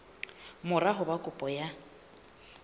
mora ho ba kopo ya